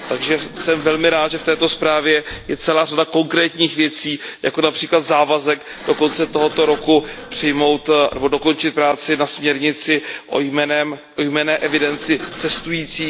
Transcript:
Takže jsem velmi rád, že v této zprávě je celá řada konkrétních věcí, jako například závazek do konce tohoto roku přijmout nebo dokončit práci na směrnici o jmenné evidenci cestujících.